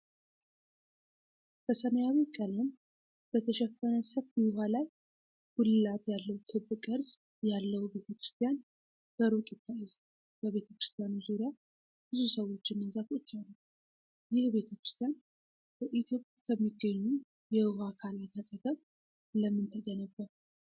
በሰማያዊ ቀለም በተሸፈነ ሰፊ ውሃ ላይ፣ ጉልላት ያለው ክብ ቅርጽ ያለው ቤተ ክርስቲያን በሩቅ ይታያል። በቤተ ክርስቲያኑ ዙሪያ ብዙ ሰዎችና ዛፎች አሉ። ይህ ቤተ ክርስቲያን በኢትዮጵያ ከሚገኙ የውሃ አካላት አጠገብ ለምን ተገነባ?